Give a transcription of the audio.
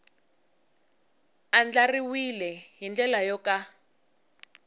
andlariwile hi ndlela yo ka